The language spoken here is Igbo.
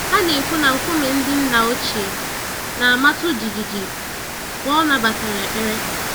Ha na-ekwu na nkume ndị nna ochie na-amatụ jijiji mgbe ọ nabatara ekpere.